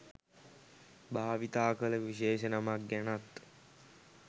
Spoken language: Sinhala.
භාවිතා කළ විශේෂ නමක් ගැනත්